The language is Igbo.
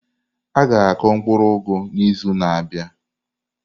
A ga-akụ mkpuru ugu n'izu na-abịa.